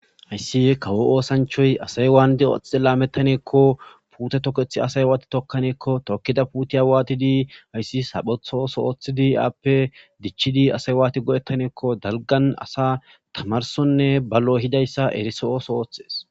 Hayssi kawo oosanchoy asay waandi oxxe laamettaneekko puute tokethi asay awaati tokkaneekko tookida puuti awaatidii ayssi saphotho sowothidi aappe dichidi asay waati go7ettaneekko dalgan asa tamarsonne ballo hidayssa eriso7o sowothees